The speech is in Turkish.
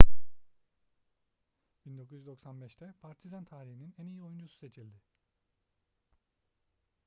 1995'te partizan tarihinin en iyi oyuncusu seçildi